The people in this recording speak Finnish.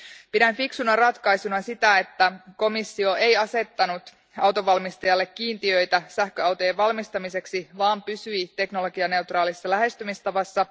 Pidän fiksuna ratkaisuna sitä, että komissio ei asettanut autonvalmistajille kiintiöitä sähköautojen valmistamiseksi, vaan pysyi teknologianeutraalissa lähestymistavassa.